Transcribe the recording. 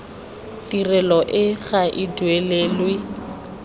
tirelo e ga e duelelwe